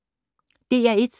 DR1